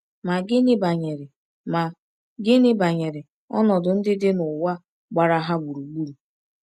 Ma gịnị banyere Ma gịnị banyere ọnọdụ ndị dị n’ụwa gbara ha gburugburu?